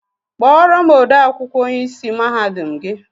Kpọrọ m ode akwụkwọ onye ịsị mahadum gị!